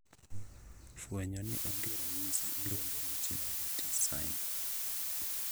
Fuenyo ni onge ranyisi iluongo ni Chilaiditi's sign